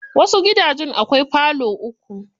Wasu gidanjen akwai falo uku.